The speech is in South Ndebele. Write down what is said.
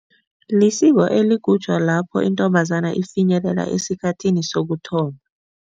Lisiko eligujwa lapho iintombazana isinyekela esikhathini sokuthoma.